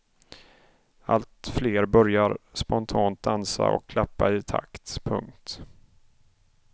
Allt fler börjar spontant dansa och klappa i takt. punkt